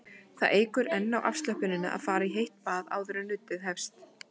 Það eykur enn á afslöppunina að fara í heitt bað áður en nuddið hefst.